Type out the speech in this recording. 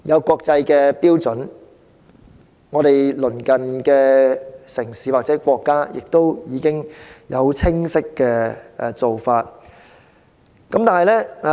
國際標準早已制訂，而香港的鄰近城市或國家亦已有清晰做法。